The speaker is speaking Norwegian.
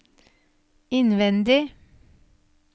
innvendig